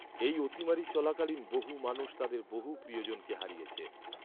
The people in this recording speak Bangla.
এই অতিমারী চলাকালীন বহু মানুষ তাদের বহু প্রিয়জনকে হারিয়েছে।